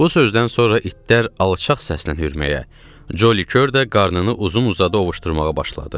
Bu sözdən sonra itlər alçaq səslə hürməyə, Joli Kör də qarnını uzun-uzadı ovuşdurmağa başladı.